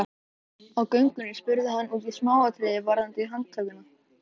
Æ, ekki taka mig alvarlega, Urður.